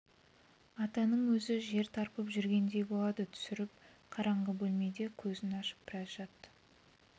атаның өзі жер тарпып жүргендей болады түсіріп қараңғы бөлмеде көзін ашып біраз жатты